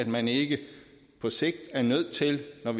man ikke på sigt er nødt til at